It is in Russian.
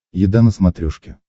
еда на смотрешке